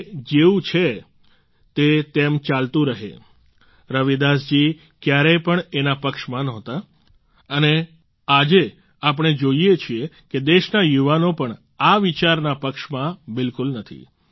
જે જેવું છે તે તેમ ચાલતું રહે રવિદાસ જી ક્યારેય પણ એના પક્ષમાં નહોતા અને આજે આપણે જોઈએ છીએ કે દેશના યુવાનો પણ આ વિચારના પક્ષમાં બિલકુલ નથી